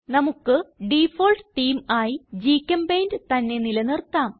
നമുക്ക് default theme ആയി ഗ്ചെമ്പെയിന്റ് തന്നെ നില നിർത്താം